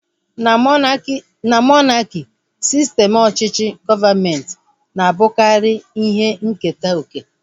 Na monaki, sistem ọchịchị gọọmenti na-abụkarị ihe nketa oke